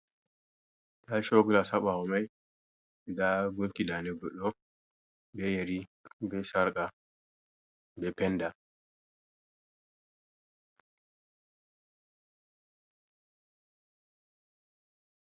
Nda show glass haa bawo mai, nda gunki dande goɗɗo, be yari, be sarƙa, be penda.